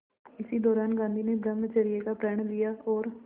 इसी दौरान गांधी ने ब्रह्मचर्य का प्रण लिया और